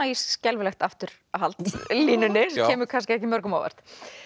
í skelfilegt afturhald línunni sem kemur kannski ekki mörgum á óvart